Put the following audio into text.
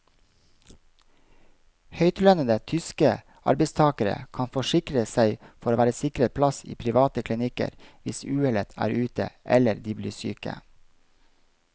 Høytlønnede tyske arbeidstagere kan forsikre seg for å være sikret plass i private klinikker hvis uhellet er ute eller de blir syke.